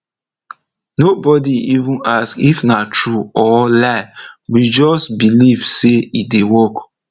no body even ask if nah true or lie we just believe say e dey work